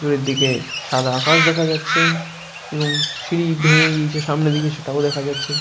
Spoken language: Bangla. দূরে দিকে সাদা আকাশ দেখা যাচ্ছে এবং সিঁড়ি ভেঙে গিয়েছে সামনের দিকে সেটাও দেখা যাচ্ছে।